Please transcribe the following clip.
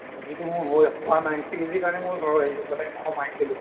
যিটো মোৰ হৈ ‌ হোৱা নাই PhD কাৰণে মই ঘৰ আহিছো মানে অসম আহিছিলো